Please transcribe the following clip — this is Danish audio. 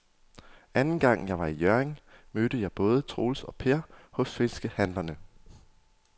Anden gang jeg var i Hjørring, mødte jeg både Troels og Per hos fiskehandlerne.